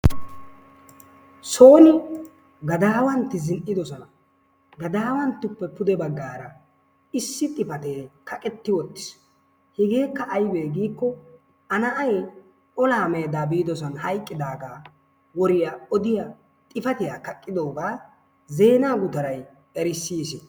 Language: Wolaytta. Soon gadaawantti zin''idoosona, gadawanttappe pude baggaara issi xifaatee kaqetti uttiis hegeekka aybee giikko A na'ay olaa meedaa biidoosan hayqqidaaga woriyaa odiyaa xifatiyaa kaqqidoogaa zeenaa gutaray erissiis.